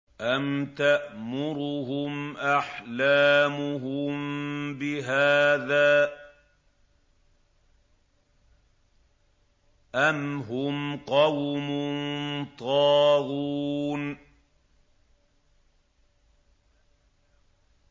أَمْ تَأْمُرُهُمْ أَحْلَامُهُم بِهَٰذَا ۚ أَمْ هُمْ قَوْمٌ طَاغُونَ